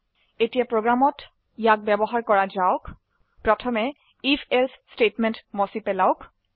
এতিয়া প্ৰোগ্ৰামত ইয়াক ব্যবহাৰ কৰা যাওক প্ৰথমে if এলছে স্টেটমেন্ট মুছি পেলাওক